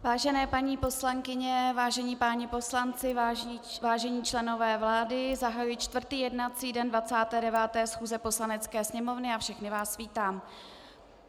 Vážené paní poslankyně, vážení páni poslanci, vážení členové vlády, zahajuji čtvrtý jednací den 29. schůze Poslanecké sněmovny a všechny vás vítám.